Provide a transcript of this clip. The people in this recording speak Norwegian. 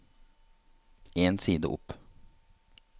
En side opp